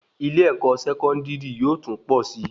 ilé-ẹ̀kọ́ Sẹkọndiri yóò tún pọ sí